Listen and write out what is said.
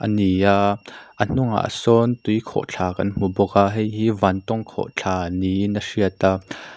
ni a a hnung ah sawn tui khawhthla kan hmu bawk a hei hi vantawng khawhthla niin a hriat a.